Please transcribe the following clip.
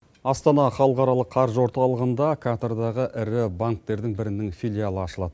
астана халықаралық қаржы орталығында катардағы ірі банктердің бірінің филиалы ашылады